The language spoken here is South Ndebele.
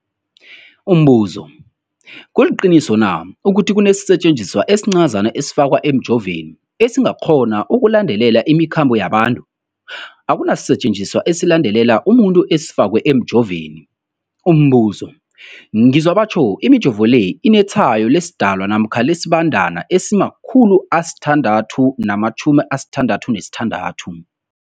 Umbuzo, kuliqiniso na ukuthi kunesisetjenziswa esincazana esifakwa emijovweni, esikghona ukulandelela imikhambo yabantu? Akuna sisetjenziswa esilandelela umuntu esifakwe emijoveni. Umbuzo, ngizwa batjho imijovo le inetshayo lesiDalwa namkha lesiBandana 666.